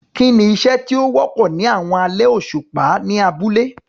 Kí ni iṣẹ́ tí ó wọ́pọ̀ ní àwọn alẹ́ òṣùpá ní abúlé?